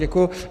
Děkuju.